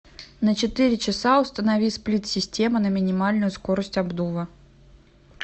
на четыре часа установи сплит система на минимальную скорость обдува